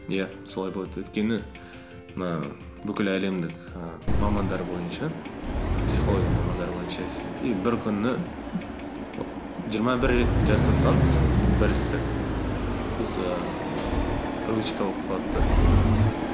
иә солай болады өйткені мына бүкіл әлемдік і мамандар бойынша психология мамандары бойынша и бір күні жиырма бір рет жасасаңыз бір істі сіз ііі привычка болып қалады да мхм